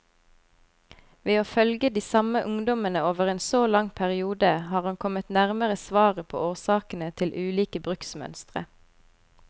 Ved å følge de samme ungdommene over en så lang periode, har han kommet nærmere svaret på årsakene til ulike bruksmønstre.